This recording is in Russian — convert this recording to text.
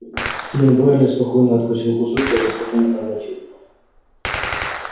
стивен байерли спокойно откусил кусок и так же спокойно проглотил его